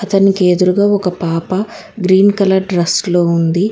అతనికి ఎదురుగా ఒక పాప గ్రీన్ కలర్ డ్రెస్ లో ఉంది.